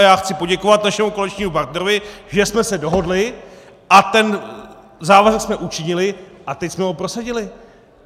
A já chci poděkovat našemu koaličnímu partnerovi, že jsme se dohodli, a ten závazek jsme učinili a teď jsme ho prosadili.